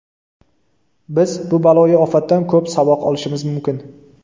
Biz bu baloyi ofatdan ko‘p saboq olishimiz mumkin.